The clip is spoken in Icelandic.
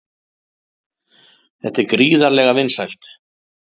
Þetta er gríðarlega vinsælt